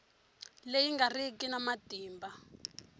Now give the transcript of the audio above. leyi nga riki na matimba